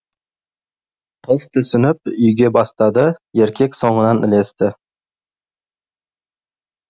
қыз түсініп үйге бастады еркек соңынан ілесті